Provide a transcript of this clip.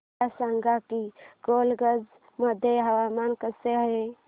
मला सांगा की गोलकगंज मध्ये हवामान कसे आहे